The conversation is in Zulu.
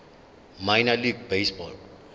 minor league baseball